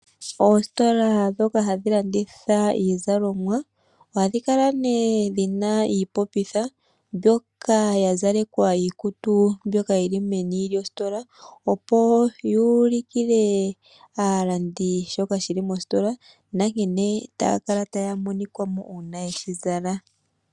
Oositola ndhoka hadhi landitha iizalomwa ohadhi kala dhina omalopitha ngono ga zalekwa iikutu nelalakano oku ulika shoka shi li mositola noku ulikila aalandi nkene taya kala mo uuna yeshi zala.